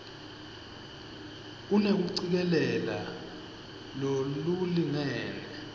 unekucikelela lolulingene